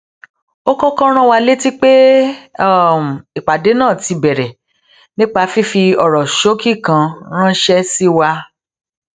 ó kókó rán wa létí pé ìpàdé náà ti bèrè nípa fífi òrò ṣókí kan ránṣé sí wa